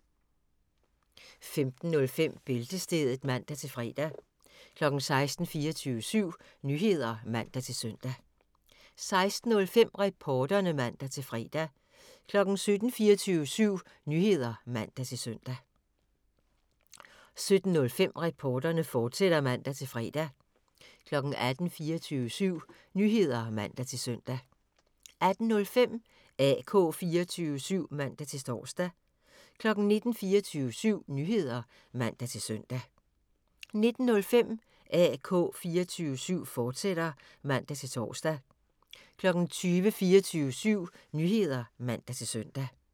15:05: Bæltestedet (man-fre) 16:00: 24syv Nyheder (man-søn) 16:05: Reporterne (man-fre) 17:00: 24syv Nyheder (man-søn) 17:05: Reporterne, fortsat (man-fre) 18:00: 24syv Nyheder (man-søn) 18:05: AK 24syv (man-tor) 19:00: 24syv Nyheder (man-søn) 19:05: AK 24syv, fortsat (man-tor) 20:00: 24syv Nyheder (man-søn)